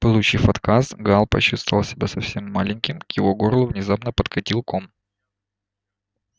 получив отказ гаал почувствовал себя совсем маленьким к его горлу внезапно подкатил ком